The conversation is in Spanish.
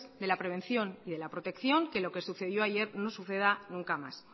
de la prevención y de la protección que lo que sucedió ayer no suceda nunca más